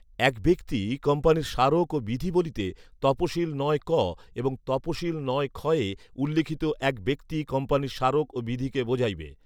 এক ব্যক্তি কোম্পানীর স্মারক ও বিধি বলিতে তপশিল নয় ক এবং তপশিল নয় খয়ে উল্লিখিত এক ব্যক্তি কোম্পানীর স্মারক ও বিধিকে বুঝাইবে